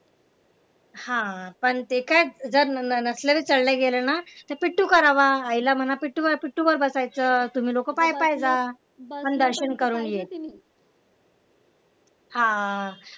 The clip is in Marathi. हा पण ते काय जर नसले चढले गेले ना तर पिंटू करावा आईला म्हणा पिंटूवर बसायचं तुम्ही लोकं पाय पाय जा पण दर्शन करून ये हा